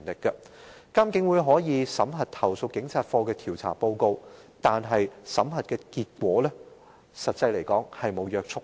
監警會可以審核投訴警察課的調查報告，但審核結果卻並無約束力。